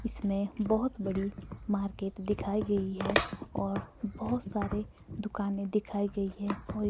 इसमें बहुत बड़ी मार्केट दिखाई गई है और बहुत सारे दुकानें दिखाई गई है।